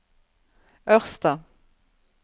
Ørsta